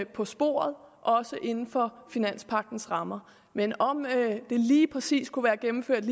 på sporet også inden for finanspagtens rammer men om den lige præcis kunne være gennemført